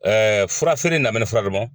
Ɛɛ furafeere lamini fura